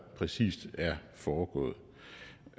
præcis er foregået